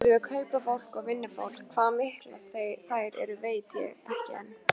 Skuldir við kaupafólk og vinnufólk, hvað miklar þær eru veit ég ekki enn.